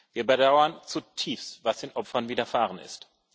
Wir bedauern zutiefst, was den Opfern widerfahren ist.